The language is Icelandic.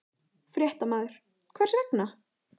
Fréttamaður: Hvers vegna?